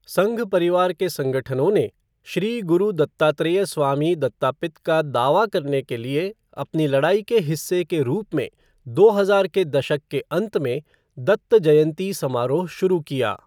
संघ परिवार के संगठनों ने "श्री गुरु दत्तात्रेय स्वामी दत्तापित" का दावा करने के लिए अपनी लड़ाई के हिस्से के रूप में दो हजार के दशक के अंत में "दत्त जयंती" समारोह शुरू किया।